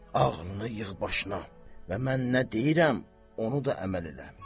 Ağlını yığ başına və mən nə deyirəm, onu da əməl elə.